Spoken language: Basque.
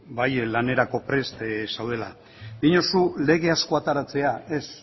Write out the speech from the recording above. bai lanerako prest zaudela diozu lege asko ateratzea ez